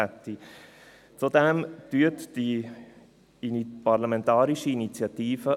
Unterstützen Sie die parlamentarische Initiative.